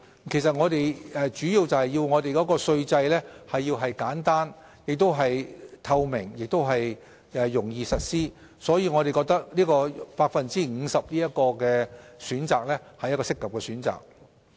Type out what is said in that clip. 其實，這主要是因為我們要讓稅制簡單、透明和容易實施，所以我們認為 50% 是一個合適的選擇。